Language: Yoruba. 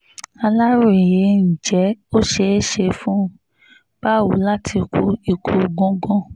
aláròye ǹjẹ́ ó ṣeé ṣe fún báwo láti kú ikú gúngun